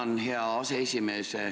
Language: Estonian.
Tänan, hea aseesimees!